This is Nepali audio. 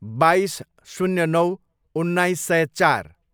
बाइस, शून्य नौ, उन्नाइस सय चार